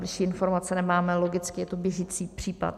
Bližší informace nemáme, logicky, je to běžící případ.